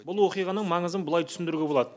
бұл оқиғаның маңызын былай түсіндіруге болады